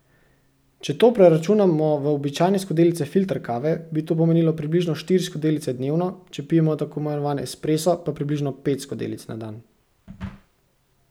Če to preračunamo v običajne skodelice filter kave, bi to pomenilo približno štiri skodelice dnevno, če pijemo tako imenovan espresso pa približno pet skodelic na dan.